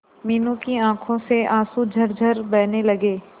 मीनू की आंखों से आंसू झरझर बहने लगे